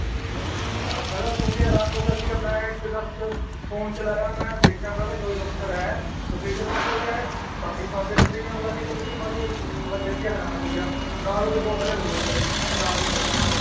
ਮੈਂ ਤਾਂ ਸੁਣ ਕੇ ਹੈਰਾਨ ਹੋ ਗਿਆ ਸੀਗਾ ਮੈਂ ਇੱਕ phone ਚਲਾਇਆ ਮੈਂ ਦੇਖਿਆ ਮੈਂ ਕਿਹਾ ਸੋਏ ਬਖਤਰ ਹੈ ਕਪਿਲ ਸ਼ਰਮਾ show 'ਚ ਆਇਆ ਪਾਕਿਸਤਾਨ ਦੇ ਬੰਦੇ ਵੀ ਆਉਣ ਲੱਗ ਗਏ ਕਪਿਲ ਸ਼ਰਮਾ show 'ਚ ਮੈਂ ਦੇਖ ਕੇੇ ਹੈਰਾਨ ਹੋ ਗਿਆ ਨਾਲ ਉਹਦੇ ਦੋ player ਹੋਰ ਆਏ ਹੋਏ ਮੈਨੂੰ ਨਾਮ ਨੀ ਪਤਾ ਉਹਨਾਂ ਦਾ